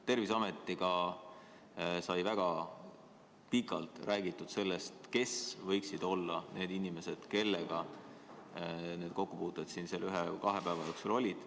Terviseametiga sai väga pikalt räägitud sellest, kes võiksid olla need inimesed, kellega mul siin kokkupuuted nende ühe-kahe päeva jooksul olid.